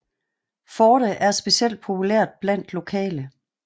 Forte er specielt populært blandt lokale